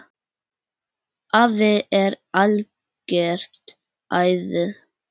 Afi er algert æði.